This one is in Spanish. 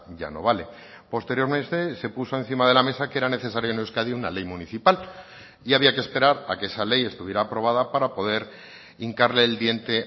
ya no vale posteriormente se puso encima de la mesa que era necesario en euskadi una ley municipal y había que esperar a que esa ley estuviera aprobada para poder hincarle el diente